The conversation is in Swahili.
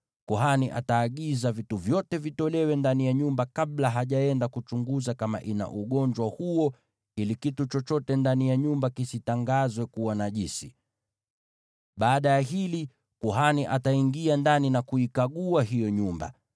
Kuhani ataagiza vitu vyote vitolewe ndani ya nyumba, kabla hajaenda kuchunguza kama ina ugonjwa huo, ili kitu chochote ndani ya nyumba kisitangazwe kuwa najisi. Baada ya hili, kuhani ataingia ndani na kuikagua hiyo nyumba.